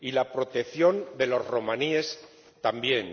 y la protección de los romaníes, también.